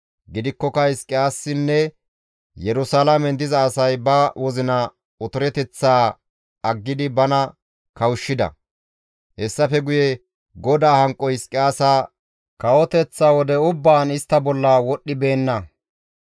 Gidikkoka Hizqiyaasinne Yerusalaamen diza asay ba wozina otoreteththaa aggidi bana kawushshida; hessafe guye GODAA hanqoy Hizqiyaasa kawoteththa wode ubbaan istta bolla wodhdhibeenna.